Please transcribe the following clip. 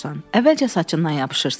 Əvvəlcə saçından yapışırsan,